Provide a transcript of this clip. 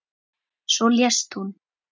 Svo lést hún.